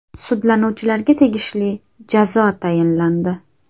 Sudlanuvchilarga tegishli jazo tayinlandi.